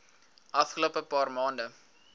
afgelope paar maande